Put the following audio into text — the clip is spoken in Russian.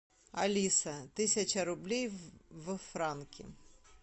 алиса тысяча рублей во франки